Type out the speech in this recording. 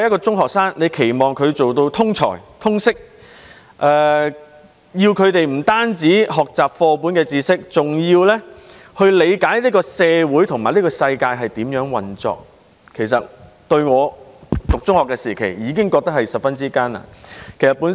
中學生要做到通才、通識，不止要學習課本上的知識，還要理解社會和世界如何運作，所以相對我讀中學時的要求是更艱難。